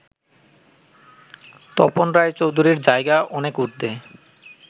তপন রায়চৌধুরীর জায়গা অনেক ঊর্ধ্বে